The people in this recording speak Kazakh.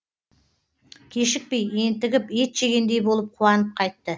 кешікпей ентігіп ет жегендей болып қуанып қайтты